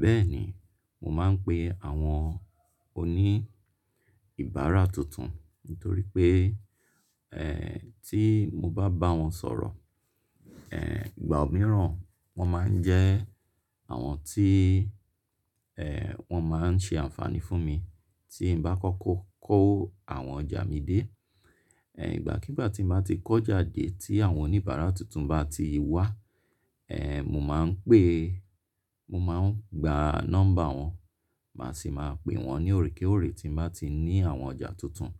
Bẹ́ẹ̀ni, mò máa ń pe àwọn oní ìbára tuntun nítorí pé, ẹ́ tí mo bá báwọn sọ̀rọ̀, ẹ́ ìgbà mìíràn wọ́n máa ń jẹ́ àwọn tí, ẹ́ wọ́n máa ń ṣe ànfàní fún mi tí n bá kọ́kọ́ kó àwọn ọjà mi dé. Ẹ̀ ìgbàkígbà tí nba ti kọ́jà dé tí àwọn oníbàára tuntun bá ti wá, ẹ́ mò máa ń pè-- mò máa ń gba nọ́mbà wọn, màá sì máa pè wọ́n ní òrékóòré tí mò tí ń ní àwọn ọjà tuntun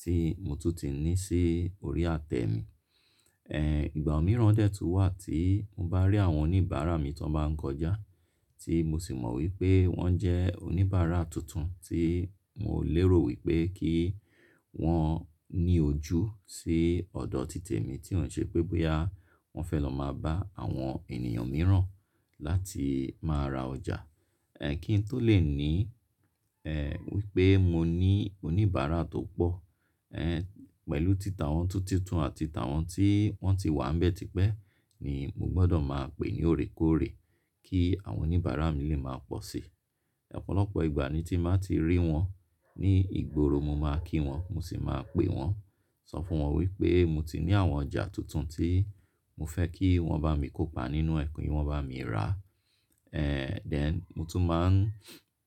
tí mò tún ti ní sí orí àtẹ mi. Ẹ̀ ìgbà mìíràn dè tó wà tí mò bá rí àwọn oníbàára mi tó bá ń kọjá tí mò sì mọ̀ wípé wọ́n jẹ́ oníbàára tuntun tí mò lé ro wípé kí wọ́n ní ojú sí ọ̀dọ̀ títè mi tí òun ṣe pé bóyá wọ́n fẹ́ lọ máa bá àwọn ènìyàn mìíràn láti máa ra ọjà. Ẹ̀ kí n tó lè ní, ẹ́ wípé mo ní oníbàára tó pọ̀, ẹ́ pẹ̀lú títà wọn ti tuntun àti títà wọn tí wọ́n ti wà ńbẹ́tipẹ́ ni mò gbọ́dọ̀ máa pè ní òrékóòré kí àwọn oníbàára mi lè máa pọ̀ sí. Ọ̀pọ̀lọpọ̀ ìgbà ni tí mò máa ti rí wọ́n ní ìgboro mò máa kí wọ́n, mò sì máa pè wọ́n, sọ fún wọ́n wípé mò ti ní àwọn ọjà tuntun tí mò fẹ́ kí wọ́n bá mi kópa nínú ẹ̀, ki wọ́n bá mi rà. Ẹ̀ then mò tún máa ń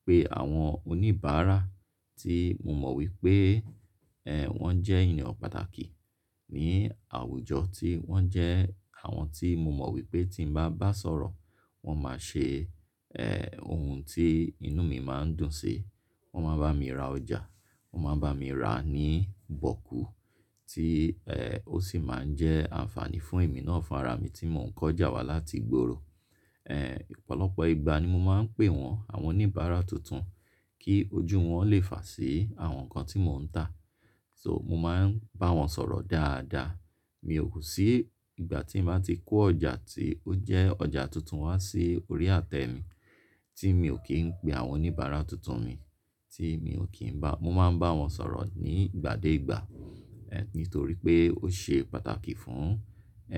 pe àwọn oníbàára tí mò mọ̀ wípé, ẹ́ wọ́n jẹ́ ènìyàn pàtàkì ní àwùjọ tí wọ́n jẹ́ àwọn tí mò mọ̀ wípé tí mò bá bá sọ̀rọ̀ wọ́n máa ṣe, ẹ́ ohun tí inú mi máa ń dùn sí. Wọ́n máa bá mi ra ọjà, wọ́n máa bá mi rà níi bọ̀kú tí, ẹ́ ó sì máa ń jẹ́ ànfàní fún èmi náà fún ara mi tí mò ń kọ́jà wá láti ìgboro. Ẹ̀ ọ̀pọ̀lọpọ̀ ìgbà ni mò máa ń pè wọ́n àwọn oníbàára tuntun kí ojú wọn lè fà sí àwọn nǹkan tí mò ń tà. So mò máa ń bá wọn sọ̀rọ̀ dáadáa. Mi ò kú sí ìgbà tí máa ti kó ọjà tí ó jẹ́ ọjà tuntun wá sí orí àtẹ mi tí mi ò kí ń pe àwọn oníbàára tuntun mi tí mi ò kí ń bá-- mò máa ń bá wọn sọ̀rọ̀ ní ìgbà dé ìgbà. Ẹ̀ nítorí pé ó ṣe pàtàkì fún,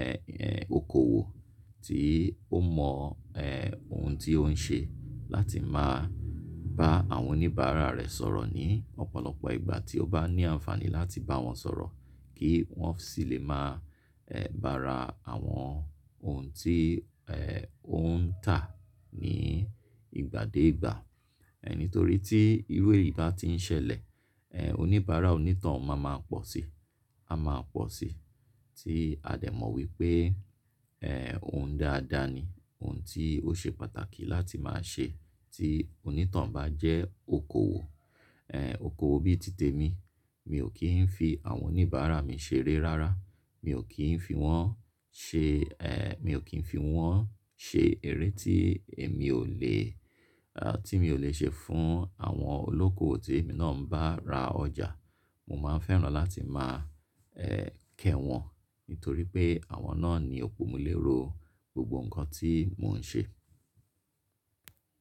ẹ́ ẹ́ okoòwò tí ó mọ̀, ẹ́ ohun tí ó ń ṣe láti máa bá àwọn oníbàára rẹ̀ sọ̀rọ̀ ní ọ̀pọ̀lọpọ̀ ìgbà tí ó bá ní ànfàní láti bá wọn sọ̀rọ̀ kí wọ́n sì lè máa, ẹ́ bá ra àwọn ohun tí, ẹ́ ó ń tà ní ìgbà dé ìgbà. Ẹ̀ nítorí tí iru eyí bá ti ń ṣẹlẹ̀, ẹ́ oníbàára onítàn oun máa ma pọ̀ sí, a máa pọ̀ sí tí a dè mọ̀ wípé, ẹ́ ohun dáadáa ni, ohun tí ó ṣe pàtàkì láti máa ṣe tí onítàn oun bá jẹ́ okoòwò. Ẹ̀ okoòwò bí i títè mi, mi ò kí ń fi àwọn oníbàára mi ṣeré rárá, mi ò kí ń fi wọ́n ṣe, ẹ́ mi ò kí ń fi wọ́n ṣe eré tí èmi ò le, à tí mi ò le ṣe fún àwọn olókoòwò tí èmi náà ń bá ra ọjà. Mò máa ń fẹ́ràn láti máa, ẹ́ kẹ́ wọn nítorí pé àwọn náà ni òpómúléró gbogbo nǹkan tí mò ń ṣe.